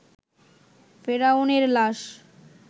ফেরাউন এর লাশ